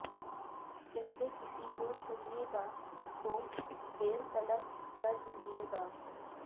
کہتے کسی کو سنئے گا تو دیر تلک سر دھنیے گا